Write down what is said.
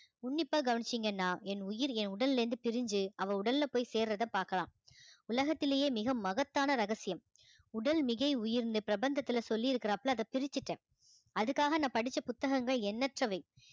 உன்னிப்பா கவனிச்சீங்கன்னா என் உயிர் என் உடல்ல இருந்து பிரிஞ்சு அவள் உடல்ல போய் சேர்றதை பார்க்கலாம் உலகத்திலேயே மிக மகத்தான ரகசியம் உடல் மிகை உயர்ந்த பிரபந்தத்துல சொல்லியிருக்கிறாப்ல அதை பிரிச்சுட்டேன் அதுக்காக நான் படிச்ச புத்தகங்கள் எண்ணற்றவை